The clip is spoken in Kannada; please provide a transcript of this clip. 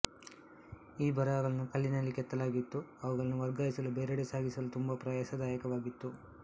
ಈ ಬರಹಗಳನ್ನು ಕಲ್ಲಿನಲ್ಲಿ ಕೆತ್ತಲಾಗಿತ್ತು ಅವುಗಳನ್ನು ವರ್ಗಾಯಿಸಲುಬೇರೆಡೆಗೆ ಸಾಗಿಸಲು ತುಂಬಾ ಪ್ರಯಾಸದಾಯಕವಾಗಿತ್ತು